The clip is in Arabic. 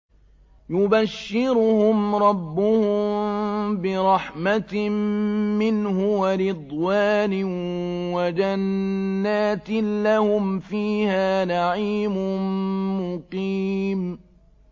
يُبَشِّرُهُمْ رَبُّهُم بِرَحْمَةٍ مِّنْهُ وَرِضْوَانٍ وَجَنَّاتٍ لَّهُمْ فِيهَا نَعِيمٌ مُّقِيمٌ